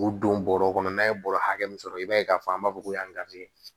K'u don bɔrɔ kɔnɔ n'a ye bɔrɔ hakɛ min sɔrɔ i b'a ye k'a fɔ an b'a fɔ ko